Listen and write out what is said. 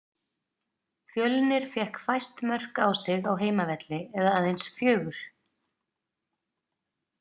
Fjölnir fékk fæst mörk á sig á heimavelli eða aðeins fjögur.